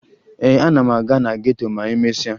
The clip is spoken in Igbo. Ee, ana m aga na geto ma emesịa